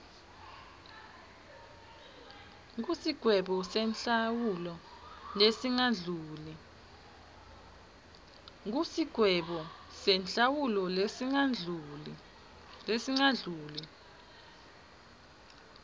kusigwebo senhlawulo lesingadluli